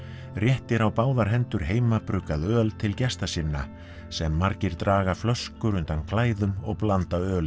réttir á báðar hendur heimabruggað öl til gesta sinna sem margir draga flöskur undan klæðum og blanda ölið